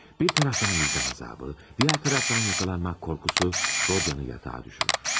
Bir tərəfdən vicdan əzabı, digər tərəfdən tutulmaq qorxusu, Rodiyanı yatağa salır.